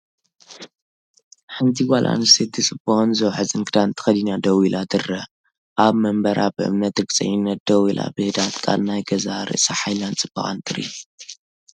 ሓንቲ ጓል ኣንስተይቲ ጽቡቕን ዝውሕዝን ክዳን ተኸዲና ደው ኢላ ትርአ። ኣብ መንበራ ብእምነትን ርግጸኝነትን ደው ኢላ ብህድኣት ቃል ናይ ገዛእ ርእሳ ሓይላን ጽባቐን ትርኢ።